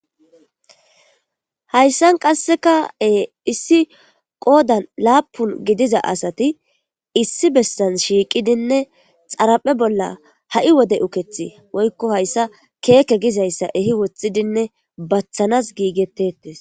hayssan qasseka e issi qoodan laapun gidiza asati issi besan shiiqidinne xaraphe bolla ha7i wode ukethi woykko hayssa keeke gizayssa ehi woththidinne bathanas giigettettes